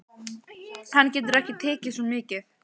Hann getur ekki tekið svo mikið.